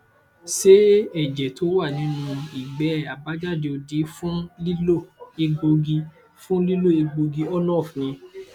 ṣé ẹjẹ tó wà nínú igbe abajade odi fun lilo egbogi fun lilo egbogi ornof ni